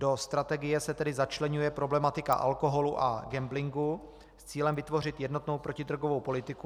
Do strategie se tedy začleňuje problematika alkoholu a gamblingu s cílem vytvořit jednotnou protidrogovou politiku.